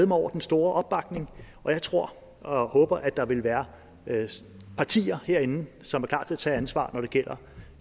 mig over den store opbakning og jeg tror og håber at der vil være partier herinde som er klar til at tage ansvar når det gælder